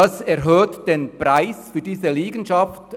Das erhöht den Preis für diese Liegenschaft.